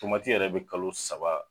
Tomati yɛrɛ be kalo saba